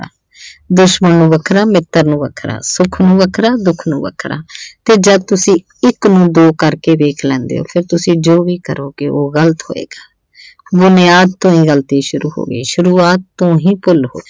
ਦੁਸ਼ਮਣ ਨੂੰ ਵੱਖਰਾ ਮਿੱਤਰ ਨੂੰ ਵੱਖਰਾ, ਸੁੱਖ ਨੂੰ ਵੱਖਰਾ ਦੁੱਖ ਨੂੰ ਵੱਖਰਾ ਤੇ ਜਦ ਤੁਸੀਂ ਇੱਕ ਨੂੰ ਦੋ ਕਰਕੇ ਵੇਖ ਲੈਂਦੇ ਹੋ ਫਿਰ ਤੁਸੀਂ ਜੋ ਵੀ ਕਰੋਗੇ ਉਹ ਗਲਤ ਹੋਏਗਾ ਬੁਨਿਆਦ ਤੋਂ ਇਹ ਗਲਤੀ ਸ਼ੁਰੂ ਹੋ ਗਈ ਸ਼ੁਰੂਆਤ ਤੋਂ ਹੀ ਭੁੱਲ ਹੋ ਗਈ।